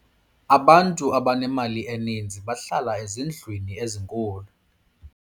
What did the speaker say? abantu abanemali eninzi bahlala ezindlwini ezinkulu